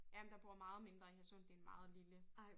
Ja men der bor meget mindre i Hadsund det en meget lille